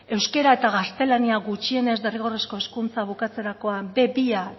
euskara eta gaztelania gutxienez derrigorrezko hezkuntza bukatzerakoan be bia